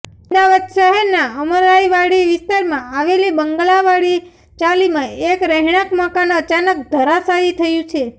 અમદાવાદ શહેરના અમરાઈવાડી વિસ્તારમા આવેલી બંગલાવાળી ચાલીમા એક રહેણાંક મકાન અચાનક ધરાશાયી થયું છે